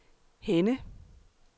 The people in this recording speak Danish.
Henne